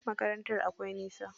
Makarantar akwai nisa.